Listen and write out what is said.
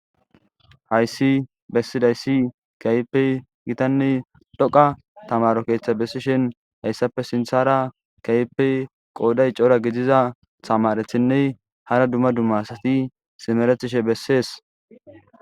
Haysi bessidaysi kehipe gitane dhoqa tamaro ketha besishen heysape sintara kehipe qoday c'ora gidiza tamaretine hara duma duma asati simeretishe beses.